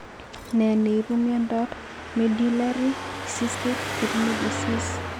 Ne ne ipu miondap Medullary cystic kidney disease?